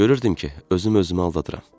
Görürdüm ki, özüm özümü aldadıram.